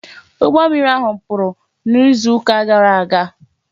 Ụgbọ mmiri ahụ kpuru n'izu ụka gara aga